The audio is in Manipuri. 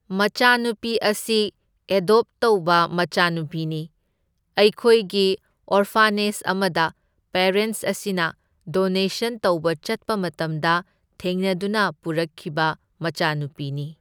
ꯃꯆꯥꯅꯨꯄꯤ ꯑꯁꯤ ꯑꯦꯗꯣꯞ ꯇꯧꯕ ꯃꯆꯥꯅꯨꯄꯤꯅꯤ, ꯑꯩꯈꯣꯏꯒꯤ ꯑꯣꯔꯐꯥꯅꯦꯖ ꯑꯃꯗ ꯄꯦꯔꯦꯟꯁ ꯑꯁꯤꯅ ꯗꯣꯅꯦꯁꯟ ꯇꯧꯕ ꯆꯠꯄ ꯃꯇꯝꯗ ꯊꯦꯡꯅꯗꯨꯅ ꯄꯨꯔꯛꯈꯤꯕ ꯃꯆꯥꯅꯨꯄꯤꯅꯤ꯫